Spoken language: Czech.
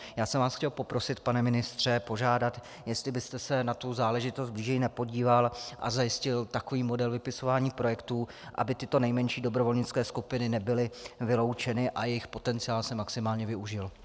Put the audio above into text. Já jsem vás chtěl poprosit, pane ministře, požádat, jestli byste se na tu záležitost blíže nepodíval a nezajistil takový model vypisování projektů, aby tyto nejmenší dobrovolnické skupiny nebyly vyloučeny a jejich potenciál se maximálně využil.